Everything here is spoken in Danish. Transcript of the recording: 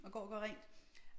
Og går og gør rent